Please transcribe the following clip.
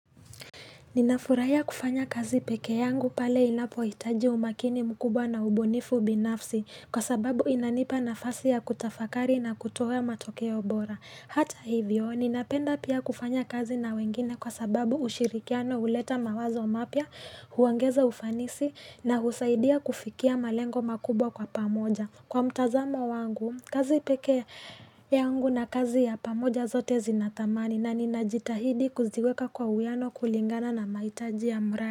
Ninafuraya kufanya kazi peke yangu pale inapoitaji umakini mkubwa na ubunifu binafsi kwa sababu inanipa nafasi ya kutafakari na kutoe matokeo bora. Hata hivyo, ninapenda pia kufanya kazi na wengine kwa sababu ushirikiano uleta mawazo mapya, huangeza ufanisi na husaidia kufikia malengo makubwa kwa pamoja. Kwa mtazamo wangu, kazi peke yangu na kazi ya pamoja zote zinatamani na ninajitahidi kuziweka kwa uwiano kulingana na maitaji ya mrae.